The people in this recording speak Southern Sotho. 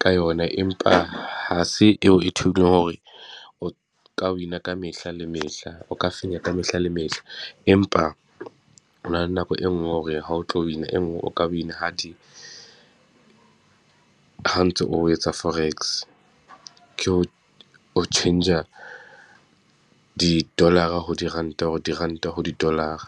ka yona, empa ha se eo e hore o ka win-a ka mehla le mehla, o ka fenya ka mehla le mehla. Empa ho na le nako e nngwe o re ha o tlo win-a e nngwe, o ka win-a ha di, ha o ntso o etsa forex. Ke o tjhentjha di-dollar-a ho diranta hore diranta ho di-dollar-a.